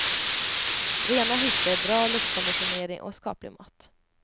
Rena hytter, bra luftkonditionering och skaplig mat.